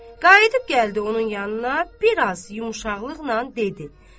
Qayıdıb gəldi onun yanına, bir az yumşaqlıqla dedi.